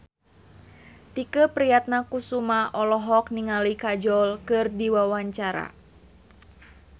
Tike Priatnakusuma olohok ningali Kajol keur diwawancara